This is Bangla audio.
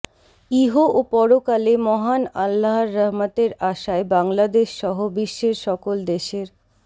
ইহ ও পরকালে মহান আল্লাহর রহমতের আশায় বাংলাদেশসহ বিশ্বের সকল দেশের